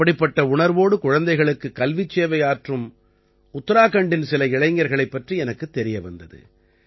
இப்படிப்பட்ட உணர்வோடு குழந்தைகளுக்குக் கல்விச் சேவையாற்றும் உத்தராக்கண்டின் சில இளைஞர்களைப் பற்றி எனக்குத் தெரிய வந்தது